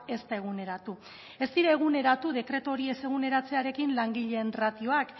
ez da eguneratu ez dira eguneratu dekretu hori ez eguneratzearekin langileen ratioak